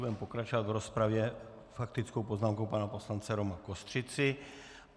Budeme pokračovat v rozpravě faktickou poznámkou pana poslance Roma Kostřici.